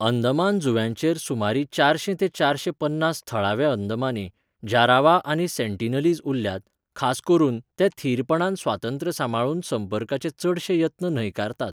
अंदमान जुंव्यांचेर सुमार चारशी ते चारशे पन्नास थळावे अंदमानी, जारावा आनी सेंटिनलीज उरल्यात, खास करून, ते थीरपणान स्वातंत्र्य सांबाळून संपर्काचे चडशे यत्न न्हयकारतात.